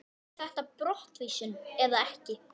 Er þetta brottvísun eða ekki?